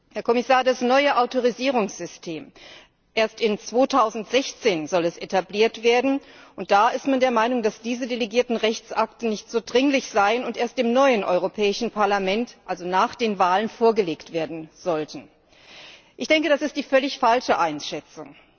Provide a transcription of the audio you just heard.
Herr Kommissar, das neue Autorisierungssystem soll erst 2016 etabliert werden, und da ist man der Meinung, dass diese delegierten Rechtsakte nicht so dringlich seien und erst im neuen Europäischen Parlament, also nach den Wahlen, vorgelegt werden sollten. Ich denke, das ist die völlig falsche Einschätzung.